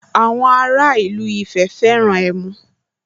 Àwọn ara ìlú Ifẹ̀ fẹ́ràn ẹmu